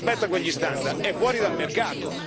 Chi non rispetta quegli standard è fuori dal mercato.